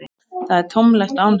Það er tómlegt án hennar.